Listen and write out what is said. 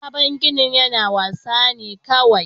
Sabon ginin na wasa ne kawai